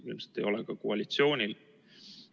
Ilmselt ei ole seda ka koalitsioonil.